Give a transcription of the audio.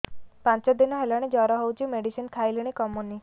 ପାଞ୍ଚ ଦିନ ହେଲାଣି ଜର ହଉଚି ମେଡିସିନ ଖାଇଲିଣି କମୁନି